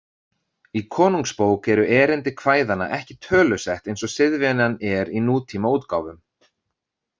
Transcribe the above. Í Konungsbók eru erindi kvæðanna ekki tölusett eins og siðvenjan er í nútímaútgáfum.